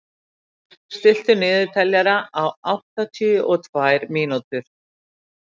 Ey, stilltu niðurteljara á áttatíu og tvær mínútur.